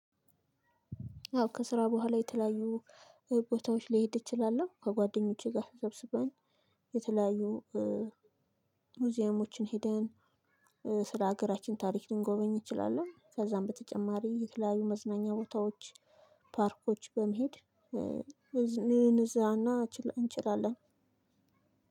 አዎ ከስራ በኋላ የተለያዩ ቦታዎች ሊሄድ እችላለው ከጓደኞቼ ጋር ተሰብስበን የተለያዩ ሙዚየሞችን ሄደን ስለ ሀገራችን ታሪክ ልንጎበኝ እንችላለን። ከዛም በተጨማሪ የተለያዩ መዝናኛ ቦታዎች ፓርኮች በመሄድ ልዝ ልዝናና እንችላለን።